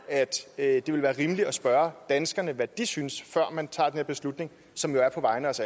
at det vil være rimeligt at spørge danskerne hvad de synes før man tager den her beslutning som jo er på vegne af os